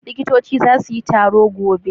Liƙita za su yi taro gobe